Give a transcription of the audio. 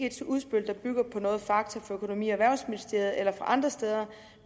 et udspil der bygger på nogle fakta fra økonomi og erhvervsministeriet eller fra andre steder